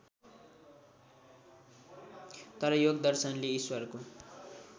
तर योगदर्शनले ईश्वरको